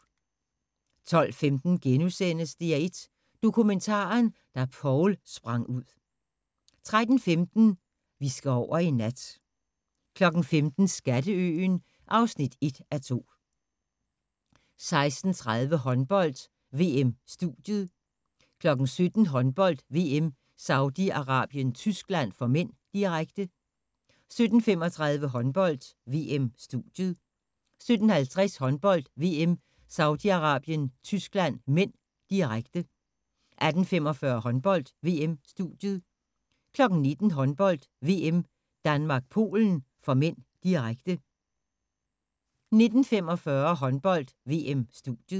12:15: DR1 Dokumentaren: Da Poul sprang ud * 13:15: Vi skal over i nat 15:00: Skatteøen (1:2) 16:30: Håndbold: VM - studiet 17:00: Håndbold: VM - Saudi-Arabien - Tyskland (m), direkte 17:35: Håndbold: VM - studiet 17:50: Håndbold: VM - Saudi-Arabien - Tyskland (m), direkte 18:45: Håndbold: VM - studiet 19:00: Håndbold: VM - Danmark-Polen (m), direkte 19:45: Håndbold: VM - studiet